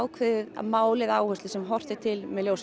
mál eða áherslu sem horft er til með